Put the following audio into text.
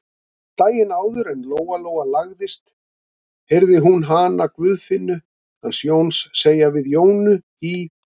Daginn áður en Lóa-Lóa lagðist heyrði hún hana Guðfinnu hans Jóns segja við Jónu í